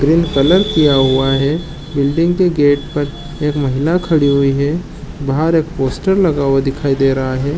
Green colour किया हुआ है बिल्डिंग के गेट पर एक महिला खड़ी हुई है बाहर एक पोस्टर लगा हुआ दिखाई दे रहा है।